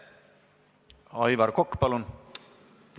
Aivar Kokk, palun!